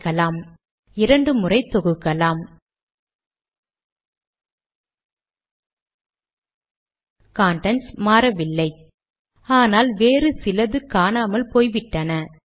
அடுத்து கடிதத்தின் உரை வருகிறது